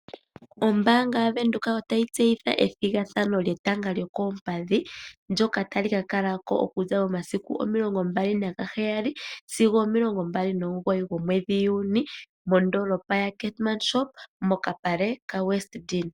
Ombaanga yaVenduka otayi tseyitha ethigathano lyetanga lyokoompadhi ndjoma tayi ka kalako okuza momasiku omilongombali naheyali sigo omomilongo nomugoyi gomwedhi Juuni mondoolopa ya Keetmanshoop mokapale ka Westdene.